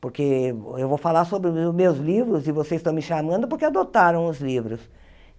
Porque eu vou falar sobre o os meus livros e vocês estão me chamando porque adotaram os livros.